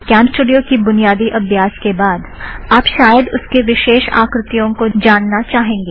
CamStudio की बुनियादी अभ्यास के बाद आप शायद उसके विशेष आकृतियों को जानना चाहेंगे